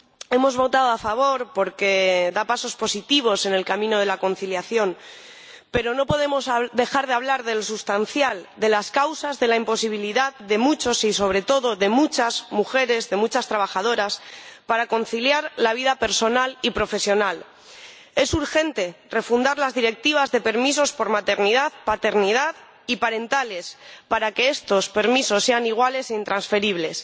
Hemos votado a favor, porque da pasos positivos en el camino de la conciliación, pero no podemos dejar de hablar de lo sustancial de las causas de la imposibilidad de muchos, y sobre todo de muchas mujeres, de muchas trabajadoras, para conciliar la vida personal y profesional. Es urgente refundir las Directivas de permisos por maternidad, paternidad y parentales, para que estos permisos sean iguales e intransferibles.